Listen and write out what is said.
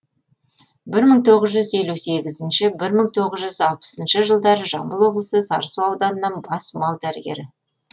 бір мың тоғыз жүз елу сегізінші бір мың тоғыз жүз алпысыншы жылдары жамбыл облысы сарысу ауданында бас мал дәрігері